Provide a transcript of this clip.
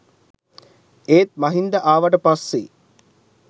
ඒත් මහින්ද ආවට පස්සේ